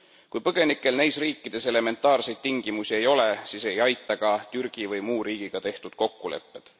Kui põgenikel neis riikides elementaarseid tingimusi ei ole, siis ei aita ka Türgi või muu riigiga tehtud kokkulepped.